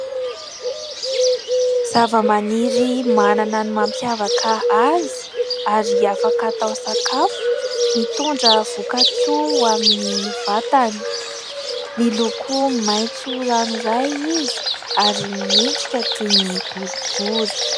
Zavamaniry manana ny mampiavaka azy ary afaka atao sakafo, mitondra voka-tsoa ho amin'ny vatana, miloko maitso ranoray izy ary miendrika toy ny borobory.